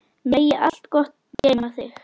Megi allt gott geyma þig.